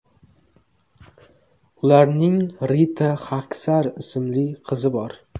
Ularning Rita Xaksar ismli qizi bor.